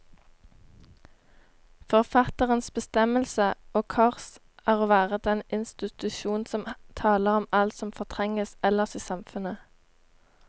Forfatterens bestemmelse, og kors, er å være den institusjon som taler om alt som fortrenges ellers i samfunnet.